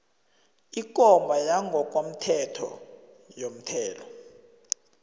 ikomba yangokomthetho yomthelo